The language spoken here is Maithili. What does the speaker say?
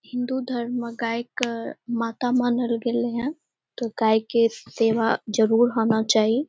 हिन्दू धर्म में गाय के माता मानल गेले हेय ते गाय के सेवा जरूर होना चाही।